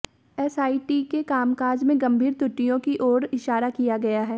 SIT के कामकाज में गंभीर त्रुटियों की ओर इशारा किया गया है